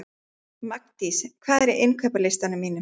Magndís, hvað er á innkaupalistanum mínum?